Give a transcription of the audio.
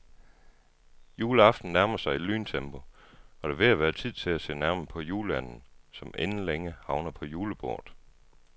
Juleaften nærmer sig i lyntempo, og det er ved at være tid til at se nærmere på juleanden, som inden længe havner på julebordet.